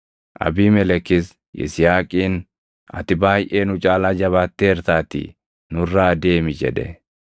Abiimelekis Yisihaaqiin, “Ati baayʼee nu caalaa jabaatteertaatii nurraa deemi” jedhe.